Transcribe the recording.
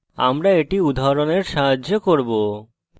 আমরা এটি উদাহরণের সাহায্যে করব